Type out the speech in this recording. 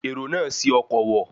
Èrò náà ṣi ọkọ̀ wọ̀